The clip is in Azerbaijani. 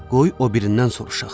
Qoy o birindən soruşaq.